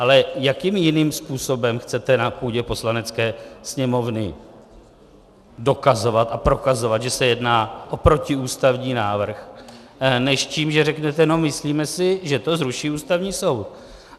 Ale jakým jiným způsobem chcete na půdě Poslanecké sněmovny dokazovat a prokazovat, že se jedná o protiústavní návrh, než tím, že řeknete "no myslíme si, že to zruší Ústavní soud"?